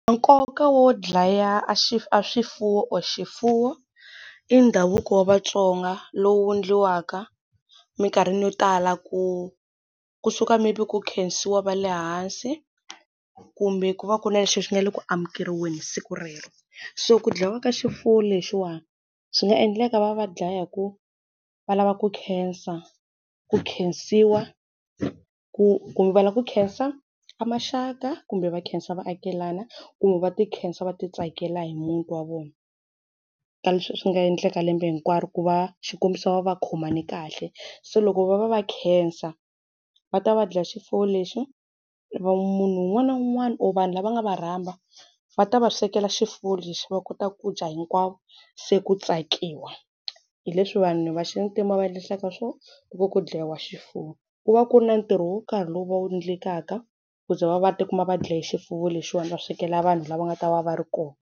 Nkoka wo dlaya aswifuwo or xifuwo, i ndhavuko wa vatsonga lowu endliwaka minkarhi yo tala ku kusuka maybe ku khensiwa va le hansi, kumbe ku va ku ri na lexi xi nga le ku amukeriweni siku rero. So ku dlayiwa ka xifuwo lexiwa, swi nga endleka va va dlaya hikuva va lava ku khensa, ku khensiwa, ku kumbe va lava ku khensa ka maxaka kumbe va khensa vaakelana kumbe va ti khensa va ti tsakela hi muti wa vona. Ka leswi swi nga endleka lembe hinkwaro ku va xikombiso va va va khomane kahle. Se loko va va va khensa, va ta va dlaye xifuwo lexi. Munhu un'wana na un'wana or vanhu lava nga va rhamba va ta va swekela xifuwo lexi, va kota ku dya hinkwavo se ku tsakiwa. Hi leswi vanhu va xintima va endlisaka swona ku va ku dlayiwa xifuwo. Ku va ku ri na ntirho wo karhi lowu va wu endlekaka ku za va va va ti kuma va dlaya xifiwo lexiwana va swekela vanhu lava nga ta va va ri kona.